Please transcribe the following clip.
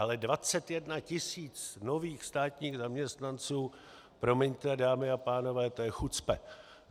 Ale 21 tisíc nových státních zaměstnanců - promiňte, dámy a pánové, to je chucpe.